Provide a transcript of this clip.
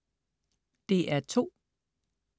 DR2: